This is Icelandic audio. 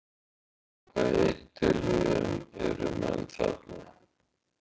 Á hvaða eiturlyfjum eru menn þarna?